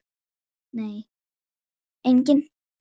Þessi peysa!